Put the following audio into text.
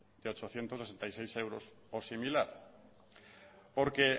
de ochocientos sesenta y seis euros o similar porque